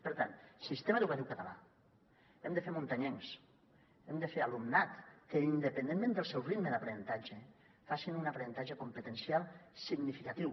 per tant sistema educatiu català hem de fer muntanyencs hem de fer alumnat que independentment del seu ritme d’aprenentatge faci un aprenentatge competencial significatiu